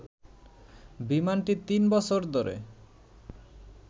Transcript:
বিমানটি তিন বছর ধরে